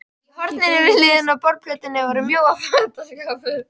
Í horninu við hliðina á borðplötunni var mjór fataskápur.